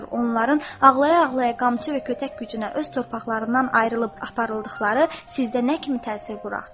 Onların ağlaya-ağlaya qamçı və kötək gücünə öz torpaqlarından ayrılıb aparıldıqları sizdə nə kimi təsir buraxdı?